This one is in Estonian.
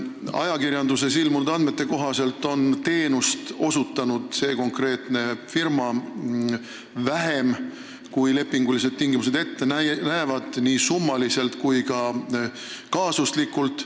Ajakirjanduses ilmunud andmete kohaselt on see konkreetne firma osutanud teenust vähem, kui lepingulised tingimused ette näevad, nii rahaliselt kui ka kaasuslikult.